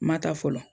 Ma ta fɔlɔ